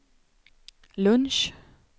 lunch